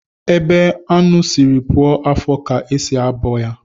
Ebe anụ sịrị puo afọ ka e si abọ ya